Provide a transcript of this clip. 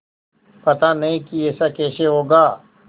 पता नहीं कि ऐसा कैसे होगा